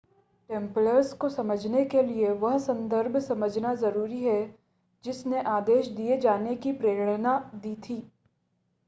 Templars को समझने के लिए वह संदर्भ समझना ज़रूरी है जिसने आदेश दिए जाने की प्रेरणा दी थी